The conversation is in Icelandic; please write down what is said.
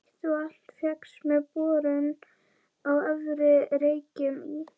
Heitt vatn fékkst með borun á Efri-Reykjum í